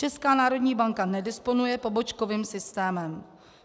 Česká národní banka nedisponuje pobočkovým systémem.